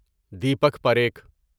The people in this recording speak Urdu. دیپک پریکھ